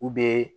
U bɛ